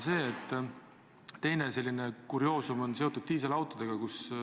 Teine selline kurioosum on seotud diiselautodega.